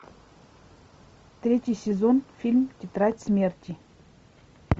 третий сезон фильм тетрадь смерти